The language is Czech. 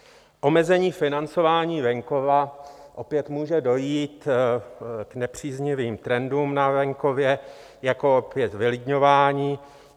Omezením financování venkova opět může dojít k nepříznivým trendům na venkově, jako opět vylidňování.